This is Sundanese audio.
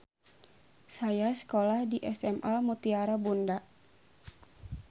Saya sekolah di SMA Mutiara Bunda.